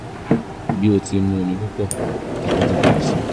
bi o ti mu omi pupọ ìtọ̀ ti pọ̀ síi